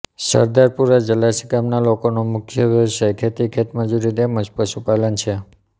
સરદારપુરા જસાલી ગામના લોકોનો મુખ્ય વ્યવસાય ખેતી ખેતમજૂરી તેમ જ પશુપાલન છે